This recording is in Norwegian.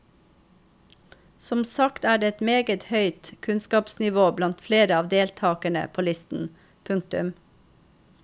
Som sagt er det et meget høyt kunnskapsnivå blant flere av deltakerne på listen. punktum